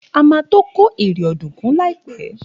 A ma tó kó ère dùnkún líàpẹ́.